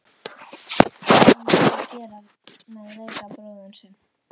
Hvað á maður að gera með veikan bróður sinn?